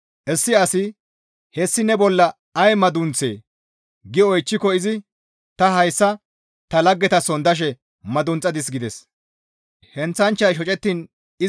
Issi asi, ‹Hessi ne bolla ay madunththee?› gi oychchiko izi, ‹Ta hayssa ta laggetason dashe madunxadis› gides.